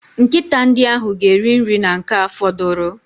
Nkịta ndị ahụ ga-eri nri na nke a fọdụrụ.